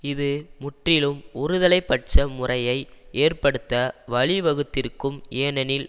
இது முற்றிலும் ஒருதலை பட்ச முறையை ஏற்படுத்த வழிவகுத்திருக்கும் ஏனெனில்